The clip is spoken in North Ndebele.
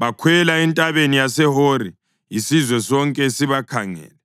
Bakhwela entabeni yaseHori isizwe sonke sibakhangele.